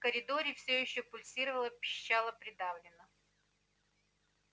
в коридоре всё ещё пульсировало-пищало придавленно